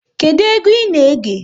Kedụ egwu ị na-ege?